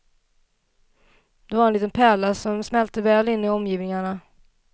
Det var en liten pärla, som smälte väl in i omgivningarna.